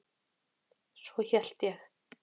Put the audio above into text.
Svo hélt ég.